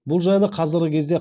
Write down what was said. бұл жайлы қазіргі кезде